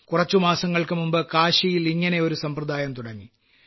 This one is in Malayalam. കുറച്ചു മാസങ്ങൾക്കുമുമ്പ് കാശിയിൽ ഇങ്ങനെയൊരു സമ്പ്രദായം തുടങ്ങി